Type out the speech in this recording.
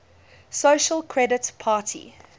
social credit party